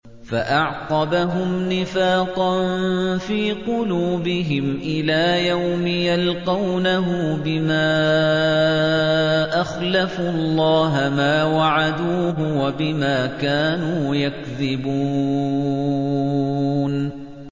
فَأَعْقَبَهُمْ نِفَاقًا فِي قُلُوبِهِمْ إِلَىٰ يَوْمِ يَلْقَوْنَهُ بِمَا أَخْلَفُوا اللَّهَ مَا وَعَدُوهُ وَبِمَا كَانُوا يَكْذِبُونَ